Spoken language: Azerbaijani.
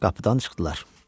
Qapıdan çıxdılar.